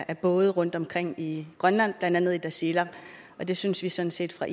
af både rundtomkring i grønland blandt andet i tasiilaq og det synes vi sådan set fra